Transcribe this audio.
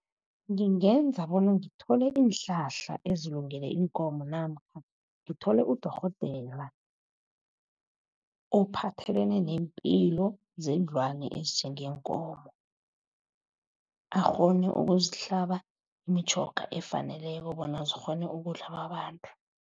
Ngingenza bona ngithole iinhlahla ezilungele iinkomo namkha ngithole udorhodera. Ophathelene nempilo zeenlwane ezinjengeenkomo. Akghone ukuzihlaba imitjhoga efaneleko bona zikghone ukudliwa babantu.